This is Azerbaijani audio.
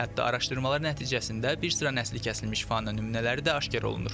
Hətta araşdırmalar nəticəsində bir sıra nəsli kəsilmiş faunə nümunələri də aşkarlanıb.